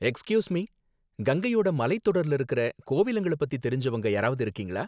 Excuse me, கங்கையோட மலைத்தொடர்ல இருக்குற கோவிலுங்கள பத்தி தெரிஞ்சவங்க யாராவது இருக்கீங்களா?